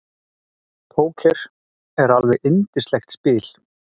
Póker er alveg yndislegt spil.